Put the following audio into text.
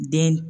Den